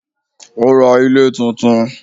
Ó ra ilé tuntun